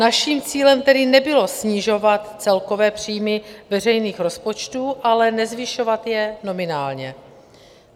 Naším cílem tedy nebylo snižovat celkové příjmy veřejných rozpočtů, ale nezvyšovat je nominálně.